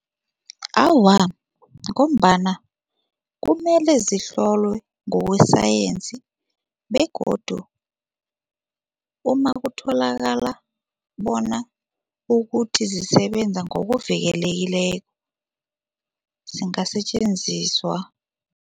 Awa, ngombana kumele zihlolwe ngokwesayensi begodu umakutholakala bona ukuthi zisebenza ngokuvikelekileko zingasetjenziswa.